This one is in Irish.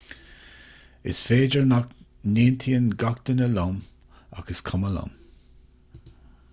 is féidir nach n-aontaíonn gach duine liom ach is cuma liom